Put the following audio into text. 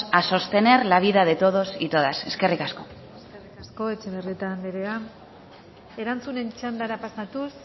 a sostener la vida de todos y todas eskerrik asko eskerrik asko etxebarrieta anderea erantzunen txandara pasatuz